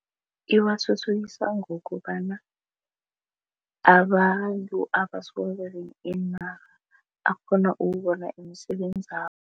Iwathuthukisa ngokobana abantu iinarha akghona ukubona umsebenzabo.